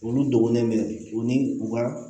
Olu dɔgɔnin minɛ u ni u ka